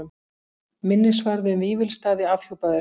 Minnisvarði um Vífilsstaði afhjúpaður